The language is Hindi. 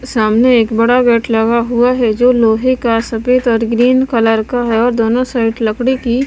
सामने एक बड़ा गेट लगा हुआ है जो लोहे का सफेद और ग्रीन कलर का है और दोनों साइड लकड़ी की--